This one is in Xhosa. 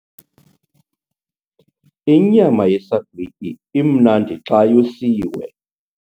Inyama yesagwityi imnandi xa yosiwe.